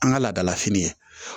An ka laadalafini ye